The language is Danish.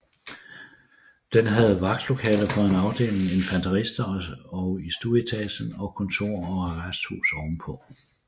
Den havde vagtlokale for en afdeling infanterister i stueetagen og kontor og arrest ovenpå